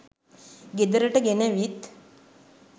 ගෙදරට ගෙනවිත්